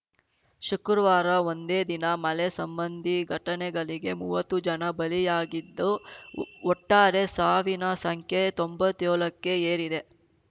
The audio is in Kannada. ಶುಕ್ರುವಾರ ಒಂದೇ ದಿನ ಮಳೆ ಸಂಬಂಧಿ ಘಟನೆಗಳಿಗೆ ಮೂವತ್ತು ಜನ ಬಲಿಯಾಗಿದ್ದು ಒಟ್ಟಾರೆ ಸಾವಿನ ಸಂಖ್ಯೆ ತೊಂಬತ್ತೇಳಕ್ಕೆ ಏರಿದೆ